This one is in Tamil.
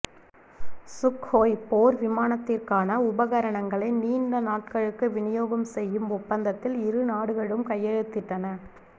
சுக்ஹோய் போர் விமானத்திற்கான உபகரணங்களை நீண்ட நாட்களுக்கு விநியோகம் செய்யும் ஒப்பந்தத்தில் இரு நாடுகளும் கையெழுத்திட்டன